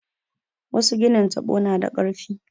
Wasu ginin taɓo na da ƙarfi.